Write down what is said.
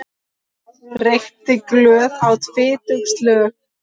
Reykti glöð, át fitug slög.